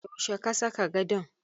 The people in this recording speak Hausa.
Yaushe ka saka gadon?